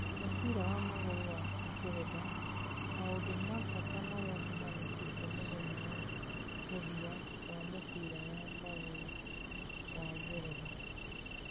Mũbira wa magũrũ wa Ngeretha: maũndũ mabata marĩa mahanĩkĩte mũthenya wa mũthia wa mũbira wa magũrũ wa Ngeretha.